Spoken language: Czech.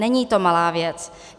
Není to malá věc.